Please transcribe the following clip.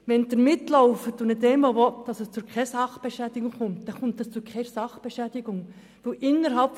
Wenn diese Leute nicht wollen, dass es zu Sachbeschädigungen kommt, dann kommt es auch nicht dazu.